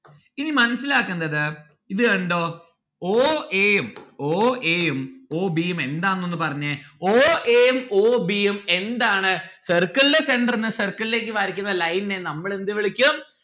ഇനി മനസ്സിലാക്കണ്ടത് ഇത് കണ്ടോ oa ഉം o a ഉം o b ഉം എന്താണ് ന്ന്‌ ഒന്നു പറഞ്ഞേ o a ഉം o b ഉം എന്താണ് circle ലെ centre ന്ന് circle ലേക്ക് വരയ്ക്കുന്ന line നെ നമ്മൾ എന്ത് വിളിക്കും?